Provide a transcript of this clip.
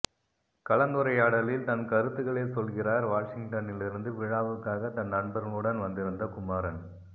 கலந்துரையாடலில் தன் கருத்துகளைச் சொல்கிறார் வாஷிங்டனிலிருந்து விழாவுக்காகத் தன் நண்பர்களுடன் வந்திருந்த குமரன்